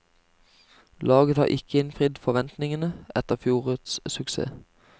Laget har ikke innfridd forventningene etter fjorårets suksess.